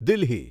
Delhi